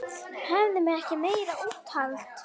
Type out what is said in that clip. Höfðum við ekki meira úthald?